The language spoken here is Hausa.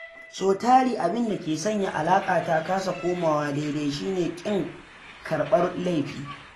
Sau tari abinda ke sanya alaƙa ta kasa komawa daidai shi ne ƙin karɓar laifi.